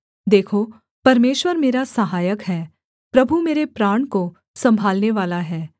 देखो परमेश्वर मेरा सहायक है प्रभु मेरे प्राण को सम्भालनेवाला है